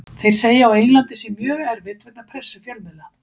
Þeir segja á Englandi sé mjög erfitt vegna pressu fjölmiðla.